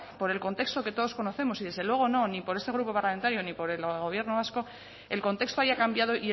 por el contexto que todos conocemos y desde luego no ni por este grupo parlamentario ni por el gobierno vasco el contexto haya cambiado